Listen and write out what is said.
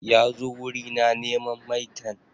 Ya zo wuri na neman maitan.